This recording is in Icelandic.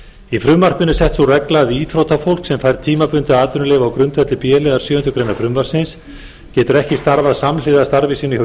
í frumvarpinu er sett sú regla að íþróttafólk sem fær tímabundið atvinnuleyfi á grundvelli b liðar sjöundu greinar frumvarpsins getur ekki starfað samhliða starfi sínu